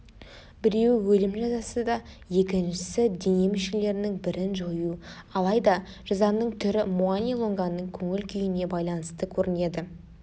біреуі өлім жазасы да екіншісі дене мүшелерінің бірін жою алайда жазаның түрі муани-лунганың көңіл-күйіне байланысты көрінеді